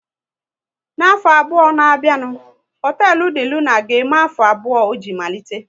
N'afọ abụọ na bịa nụ, hotelu De Luna ga eme afọ abụọ o ji malite